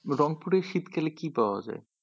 রংপুরে শীতকালে কি পাওয়া যায়?